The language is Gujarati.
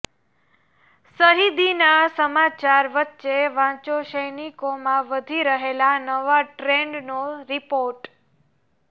શહીદીના સમાચાર વચ્ચે વાંચો સૈનિકોમાં વધી રહેલા નવા ટ્રેન્ડનો રિપોર્ટ